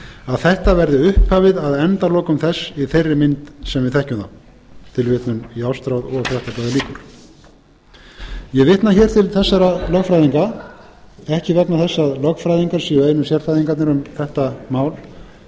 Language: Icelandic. að þetta verði upphafið að endalokum þess í þeirri mynd sem við þekkjum það ég vitna hér til þessara lögfræðinga ekki vegna þess að lögfræðingar séu einu sérfræðingarnir um þetta mál